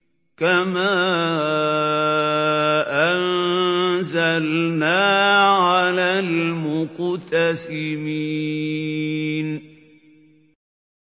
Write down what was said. كَمَا أَنزَلْنَا عَلَى الْمُقْتَسِمِينَ